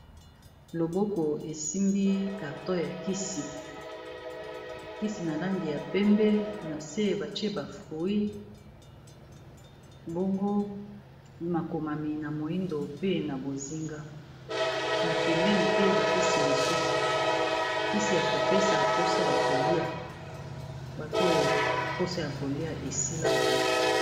Loboko esimbi carton ya kisi, kisi na langi ya pembe na se batie ba fruit. Bongo makomami na moyindo, pe na bozinga, na pembeni pe ba kisi misusu. Kisi ya kopesa posa ya kolia bato oyo mposa ya kolia esila bango.